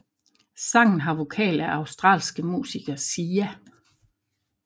Sangen har vokal af australske musiker Sia